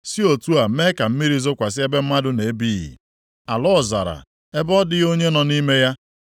Si otu a mee ka mmiri zokwasị ebe mmadụ na-ebighị, ala ọzara ebe ọ dịghị onye nọ nʼime ya,